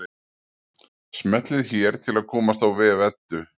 Smellið hér til að komast á vef Eddu.